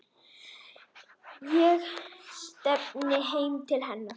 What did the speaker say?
Ég stefni heim til hennar.